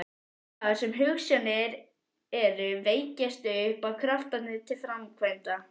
Þar sem hugsjónir eru, vekjast upp kraftar til framkvæmda.